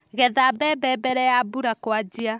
Getha mbembe mbere ya mbura kũanjia.